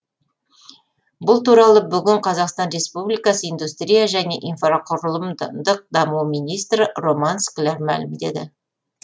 бұл туралы бүгін қазақстан республикасы индустрия және инфрақұрылымдық даму министрі роман скляр мәлімдеді